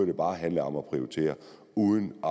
det bare handlede om at prioritere uden at